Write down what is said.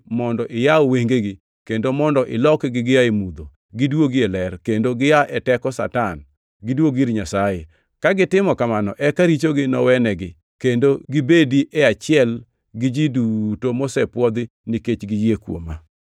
mondo iyaw wengegi, kendo mondo ilokgi gia e mudho, giduogi e ler, kendo gia e teko Satan, giduogi ir Nyasaye; ka gitimo kamano eka richogi nowenegi, kendo gibedi e achiel gi ji duto mosepwodhi, nikech giyie kuoma.’